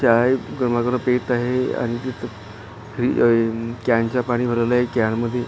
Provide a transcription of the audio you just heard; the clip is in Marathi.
चाय गरमा गरम पीत आहे आणि तिथ कॅन च पाणी भरायला एक कॅन मध्ये --